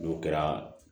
N'o kɛra